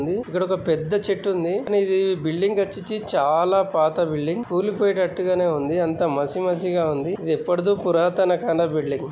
ఇక్కడ ఒక పెద్ద చెట్టు ఉంది కానీ ఇధి బిల్డింగ్ వచ్చేచి చాలా పాత బిల్డింగ్ కూలీపోయ్యేటట్టు గానే ఉంది అంతా మసి మసి గ ఉంది ఇధి ఎప్పడిదో పురాతన కాలం బిల్డింగ్ ఇది.